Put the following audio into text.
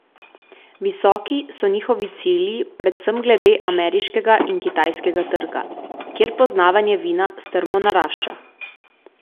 Visoki so njihovi cilji predvsem glede ameriškega in kitajskega trga, kjer poznavanje vina strmo narašča.